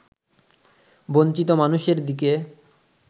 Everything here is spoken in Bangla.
বঞ্চিত মানুষের দিকে